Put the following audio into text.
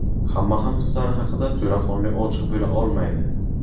Hamma ham hislari haqida to‘laqonli ochiq bo‘la olmaydi.